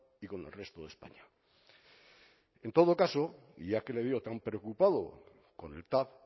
y con el resto de españa en todo caso y ya que le veo tan preocupado con el tav